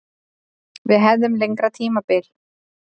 Að við hefðum lengra tímabil.